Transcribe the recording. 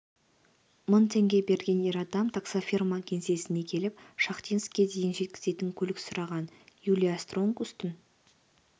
мың теңге берген ер адам таксофирма кеңсесіне келіп шахтинскке дейін жеткізетін көлік сұраған юлия стронкустың